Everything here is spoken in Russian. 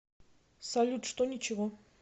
салют что ничего